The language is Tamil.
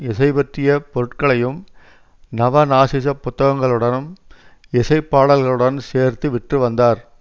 இசைபற்றிய பொருட்களையும் நவநாசிசப் புத்தகங்களுடனும் இசை பாடல்களுடன் சேர்த்து விற்று வந்தார்